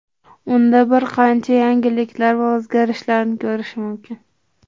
Unda bir qancha yangiliklar va o‘zgarishlarni ko‘rish mumkin.